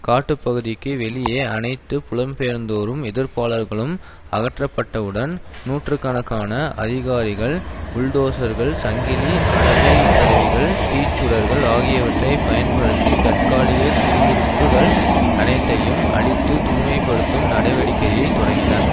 காட்டு பகுதிக்கு வெளியே அனைத்து புலம்பெயர்ந்தோரும் எதிர்ப்பாளர்களும் அகற்றப்பட்டவுடன் நூற்று கணக்கான அதிகாரிகள் புல்டோசர்கள் சங்கிலி அரவைக் கருவிகள் தீச்சுடர்கள் ஆகிவற்றைப் பயன்படுத்தி தற்காலிக குடியிருப்புக்கள் அனைத்தையும் அழித்து தூய்மை படுத்தும் நடவடிக்கையை தொடங்கினர்